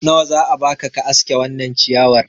nawa za a baka ka aske wannan ciyawar